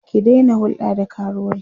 ki Daina hulɗa da karuwai!